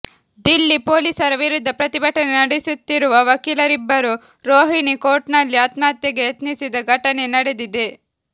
ದಿಲ್ಲಿ ಪೊಲೀಸರ ವಿರುದ್ಧ ಪ್ರತಿಭಟನೆ ನಡೆಸುತ್ತಿರುವ ವಕೀಲರಿಬ್ಬರು ರೋಹಿಣಿ ಕೋರ್ಟ್ನಲ್ಲಿ ಆತ್ಮಹತ್ಯೆಗೆ ಯತ್ನಿಸಿದ ಘಟನೆ ನಡೆದಿದೆ